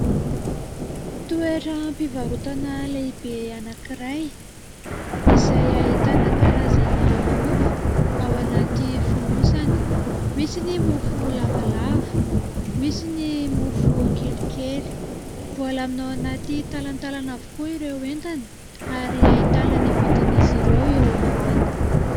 Toerampivarotana lehibe anankiray izay ahitana karazana mofo ao anaty fonosana. Misy ny mofo lavalava, misy ny mofo kelikely. Voalamina ao anaty talantalana avokoa ireo entana ary ahitana ny vidin'izy ireo eo ambany.